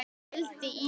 vældi Ína.